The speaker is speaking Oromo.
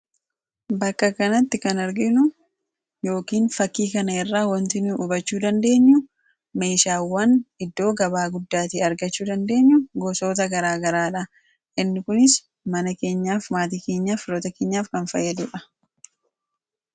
Bakka kanatti kana arginu meeshaawwan iddoo gabaa guddaatii argachuu dandeenyu gosoota garaagaraadha. Innis kunis mana keenyaaf ,maatii keenyaaf, firoota keenyaaf fayyadudha.